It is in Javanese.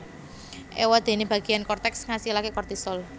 Éwadéné bagéan korteks ngasilaké kortisol